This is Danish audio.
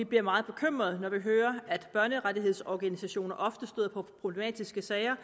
bliver meget bekymrede når vi hører at børnerettighedsorganisationer ofte støder på problematiske sager